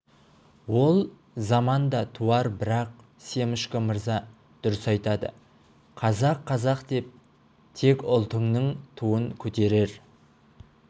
ол заман да туар бірақ семашко мырза дұрыс айтады қазақ қазақ деп тек ұлтыңның туын көтерер